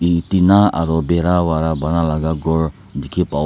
yete na aro behra wala bana laka kor dekhe pabo.